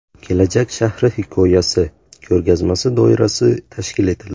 Kelajak shahri hikoyasi” ko‘rgazmasi doirasi tashkil etildi.